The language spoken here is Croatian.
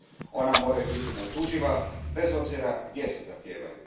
Ona moraju biti neotuđiva, bez obzira gdje se zahtijevaju.